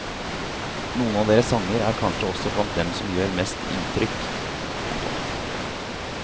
Noen av deres sanger er kanskje også blant dem som gjør mest inntrykk. punktum